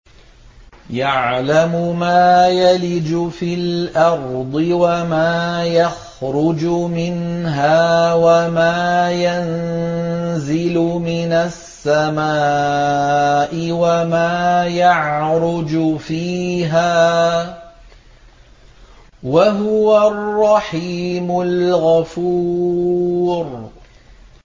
يَعْلَمُ مَا يَلِجُ فِي الْأَرْضِ وَمَا يَخْرُجُ مِنْهَا وَمَا يَنزِلُ مِنَ السَّمَاءِ وَمَا يَعْرُجُ فِيهَا ۚ وَهُوَ الرَّحِيمُ الْغَفُورُ